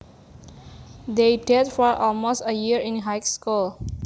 They dated for almost a year in high school